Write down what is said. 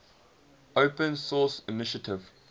open source initiative